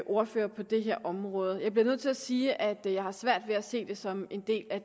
ordfører på det her område jeg bliver nødt til sige at jeg har svært ved at se det som en del af